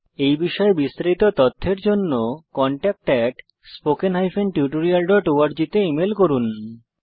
এই বিষয়ে বিস্তারিত তথ্যের জন্য কনট্যাক্ট at spoken tutorialঅর্গ তে ইমেল করুন